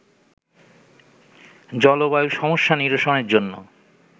জলবায়ু সমস্যা নিরসনের জন্য